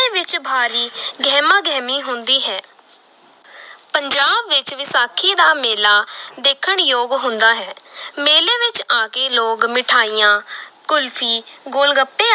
ਵਿੱਚ ਭਾਰੀ ਗਹਿਮਾ ਗਹਿਮੀ ਹੁੰਦੀ ਹੈ ਪੰਜਾਬ ਵਿੱਚ ਵਿਸਾਖੀ ਦਾ ਮੇਲਾ ਦੇਖਣ ਯੋਗ ਹੁੰਦਾ ਹੈ ਮੇਲੇ ਵਿੱਚ ਆ ਕੇ ਲੋਕ ਮਠਿਆਈਆਂ ਕੁਲਫ਼ੀ, ਗੋਲਗੱਪੇ